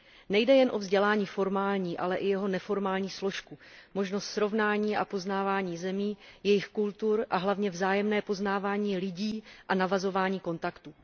Nejde jen o vzdělání formální, ale i o jeho neformální složku, možnost srovnání a poznávání zemí, jejich kultur a hlavně vzájemné poznávání lidí a navazování kontaktů.